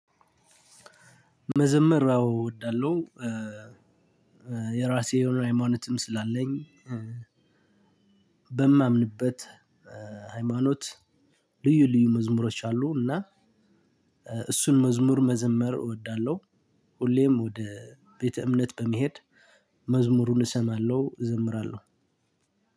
መዘመር አወ እወዳለሁ። የራሴ የሆነ ሀይማኖትም ስላለኝ በማምንበት ሃይማኖት ልዩ ልዩ መዝሙሮች አሉ። እና እሱን መዝሙር መዘመር እወዳለሁ። ሁሌም ወደ ቤተ እምነት በመሄድ መዝሙሩን እሰማለሁ እዘምራለሁ።